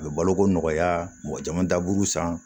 A bɛ baloko nɔgɔya mɔgɔ caman daburu san